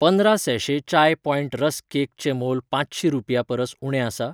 पंदरा सैैशे चाय point rusk cake चें मोल पांचशी रुपयां परस उणें आसा?